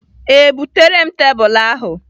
Ee, bụtere m tebụl ahụ.